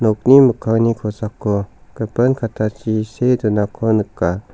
nokni mikkangni kosako gipin kattachi see donako nika.